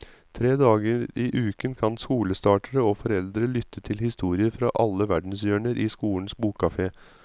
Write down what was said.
Tre dager i uken kan skolestartere og foreldre lytte til historier fra alle verdenshjørner i skolens bokkafé.